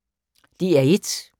DR1